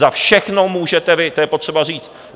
Za všechno můžete vy, to je potřeba říct.